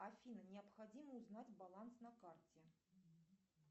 афина необходимо узнать баланс на карте